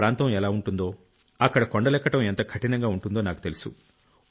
ప్రాంతం ఎలా ఉంటుందో అక్కడ కొండలెక్కడం ఎంత కఠినంగా ఉంటుందో నాకు తెలుసు